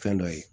Fɛn dɔ ye